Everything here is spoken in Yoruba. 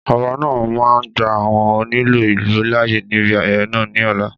Ọba náà máa gba àwọn onílù ìlú láàyè níbi ayẹyẹ náà ní ọ̀la